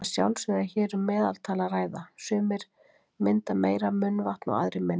Að sjálfsögðu er hér um meðaltal að ræða, sumir mynda meira munnvatn og aðrir minna.